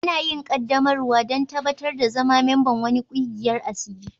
Ana yin qaddamarwa dan tabatar da zama memba'n wani kwigiyan asiri.